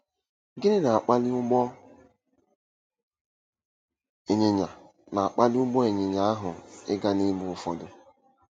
Gịnị na-akpali ụgbọ ịnyịnya na-akpali ụgbọ ịnyịnya ahụ ịga n'ebe ụfọdụ?